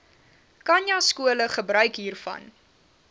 khanyaskole gebruik hiervan